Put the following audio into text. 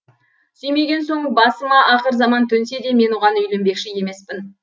сүймеген соң басыма ақыр заман төнсе де мен оған үйленбекші емеспін